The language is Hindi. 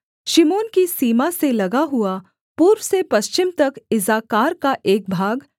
शिमोन की सीमा से लगा हुआ पूर्व से पश्चिम तक इस्साकार का एक भाग